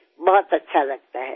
ઘણું સારું લાગે છે